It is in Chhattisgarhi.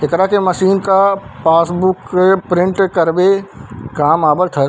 एकरा के मशीन का पासबुक का प्रिंट करवे काम आवत थाहे।